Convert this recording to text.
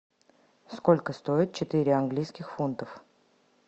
сколько стоит четыре английских фунтов